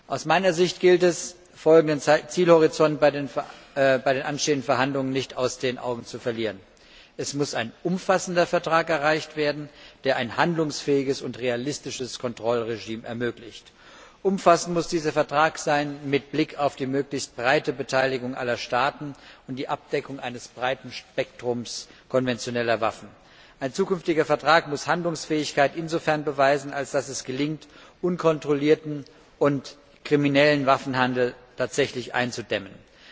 Aus meiner Sicht gilt es, folgenden Zielhorizont bei den anstehenden Verhandlungen nicht aus den Augen zu verlieren Es muss ein umfassender Vertrag erreicht werden, der ein handlungsfähiges und realistisches Kontrollregime ermöglicht. Umfassend muss dieser Vertrag sein mit Blick auf die möglichst breite Beteiligung aller Staaten und die Abdeckung eines breiten Spektrums konventioneller Waffen. Ein zukünftiger Vertrag muss insofern Handlungsfähigkeit beweisen, als es gelingen muss, unkontrollierten und kriminellen Waffenhandel tatsächlich einzudämmen.